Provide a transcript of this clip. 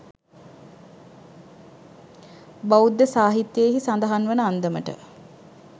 බෞද්ධ සාහිත්‍යයෙහි සඳහන් වන අන්දමට,